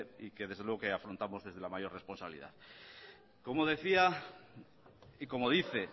y que afrontamos desde la mayor responsabilidad como decía y como dice